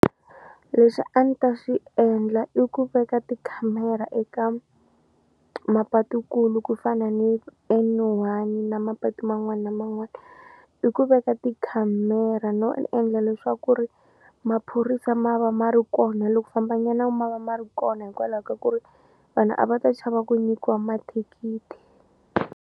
Leswi a ni ta swi endla i ku veka tikhamera eka mapatu kulu ku fana ni N_one na mapatu man'wani na man'wani i ku veka tikhamera no endla leswaku ri maphorisa ma va ma ri kona loko famba nyana ma va ma ri kona hikwalaho ka ku ri vanhu a va ta chava ku nikiwa mathikithi.